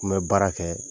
N bɛ baara kɛ